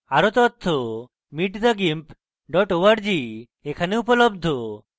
আরো তথ্য